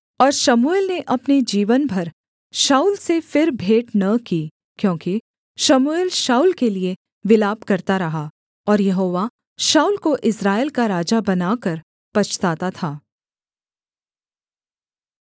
और शमूएल ने अपने जीवन भर शाऊल से फिर भेंट न की क्योंकि शमूएल शाऊल के लिये विलाप करता रहा और यहोवा शाऊल को इस्राएल का राजा बनाकर पछताता था